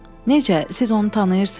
Necə, siz onu tanıyırsınız?